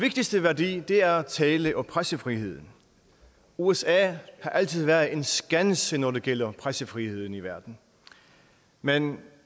vigtigste værdi er tale og pressefriheden usa har altid været en skanse når det gælder pressefriheden i verden men